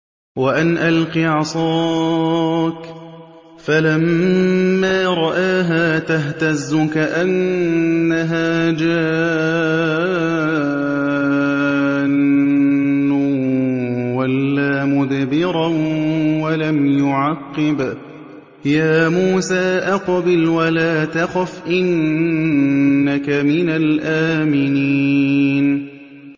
وَأَنْ أَلْقِ عَصَاكَ ۖ فَلَمَّا رَآهَا تَهْتَزُّ كَأَنَّهَا جَانٌّ وَلَّىٰ مُدْبِرًا وَلَمْ يُعَقِّبْ ۚ يَا مُوسَىٰ أَقْبِلْ وَلَا تَخَفْ ۖ إِنَّكَ مِنَ الْآمِنِينَ